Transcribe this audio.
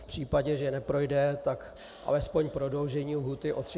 V případě, že neprojde, tak alespoň prodloužení lhůty o 30 dnů.